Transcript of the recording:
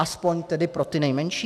Aspoň tedy pro ty nejmenší?